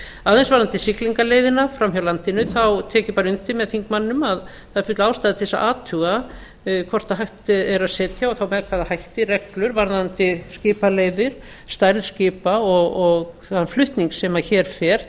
aðeins varðandi siglingaleiðina fram hjá landinu tek ég bara undir með þingmanninum að það er full ástæða til þess að athuga hvort hægt er að setja og þá með hvaða hætti reglur varðandi skipaleiðir stærð skipa og þann flutning sem hér fer